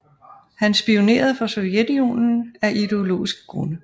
Han spionerede for Sovjetunionen af ideologiske grunde